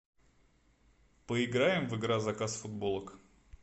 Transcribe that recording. поиграем в игра заказ футболок